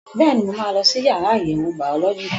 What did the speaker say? Bẹ́ẹ̀ni, mo máa lọ sí yàrá àyẹ̀wò bàọ́lọ́jì